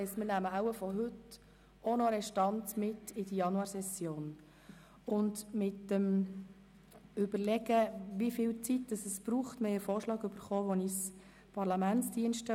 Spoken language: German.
Wir nehmen vom heutigen Tag wohl auch noch eine Restanz in die Januarsession mit.